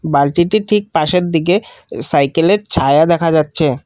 বালতিটির ঠিক পাশের দিকে সাইকেল -এর ছায়া দেখা যাচ্ছে।